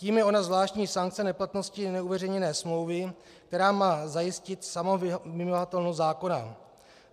Tím je ona zvláštní sankce neplatnosti neuveřejněné smlouvy, která má zajistit samovymahatelnost zákona.